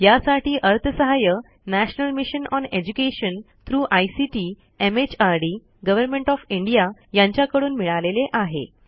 यासाठी अर्थसहाय्य national mission on education through ICT MHRD government of India यांच्याकडून मिळालेले आहे